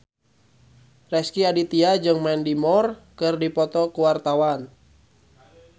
Rezky Aditya jeung Mandy Moore keur dipoto ku wartawan